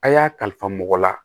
A' y'a kalifa mɔgɔ la